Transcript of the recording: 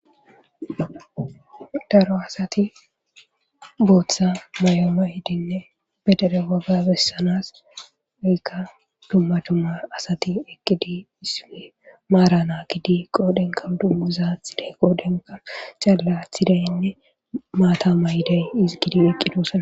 Daro asati booththa mayo mayidinne be dere waga bessanas oykka dumma dumma asati eqqidi iissippe maara naagidi qoodhenka dunguza athidi qoodenka c'alle athidinne maata ma ydey izi gidi eqqidosona